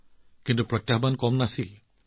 কিন্তু ইয়াতো কম প্ৰত্যাহ্বান নাছিল